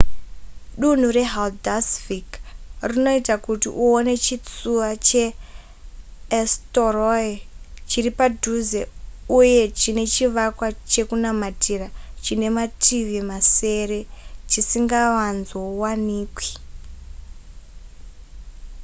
dunhu rehaldarsvik rinoita kuti uone chitsuwa cheeysturoy chiri padhuze uye chine chivakwa chekunamatira chine mativi masere chisingavanzovanikwi